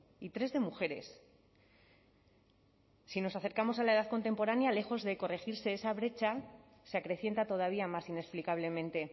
y tres de mujeres si nos acercamos a la edad contemporánea lejos de corregirse esa brecha se acrecienta todavía más inexplicablemente